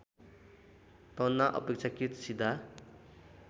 तना अपेक्षाकृत सिधा